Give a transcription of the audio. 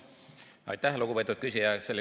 Aitäh, lugupeetud küsija!